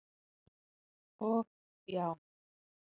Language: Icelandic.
og já.